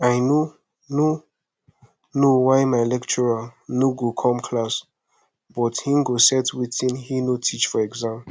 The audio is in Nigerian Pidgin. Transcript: i no no know why my lecturer no go come class but he go set wetin he no teach for exam